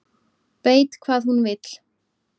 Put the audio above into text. Veit hvað hún vill